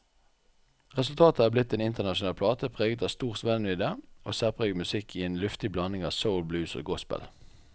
Resultatet er blitt en en internasjonal plate preget av stor spennvidde og særpreget musikk i en luftig blanding av soul, blues og gospel.